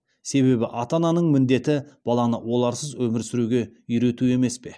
себебі ата ананың міндеті баланы оларсыз өмір сүруге үйрету емес пе